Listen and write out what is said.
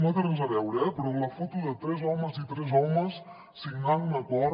no té res a veure però la foto de tres homes i tres homes signant un acord